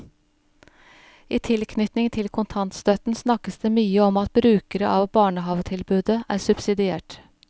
I tilknytning til kontantstøtten snakkes det mye om at brukere av barnehavetilbudet er subsidiert.